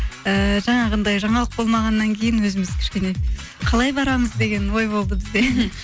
ііі жаңағындай жаңалық болмағаннан кейін өзіміз кішкене қалай барамыз деген ой болды бізде